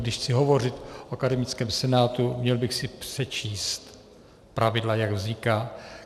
Když chci hovořit o akademickém senátu, měl bych se přečíst pravidla, jak říká.